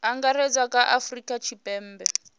angaredza kha a afurika tshipembe